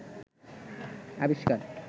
আবিষ্কার